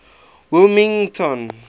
wilmington